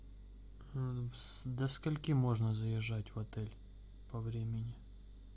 до скольки можно заезжать в отель по времени